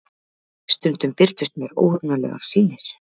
Stundum birtust mér óhugnanlegar sýnir.